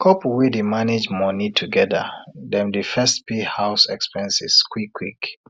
couple wey dey manage money together dem dey first pay house expenses quick quick